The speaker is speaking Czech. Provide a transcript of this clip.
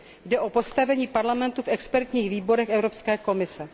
Jde o postavení Parlamentu v expertních výborech Evropské komise.